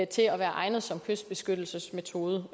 til at være egnet som kystbeskyttelsesmetode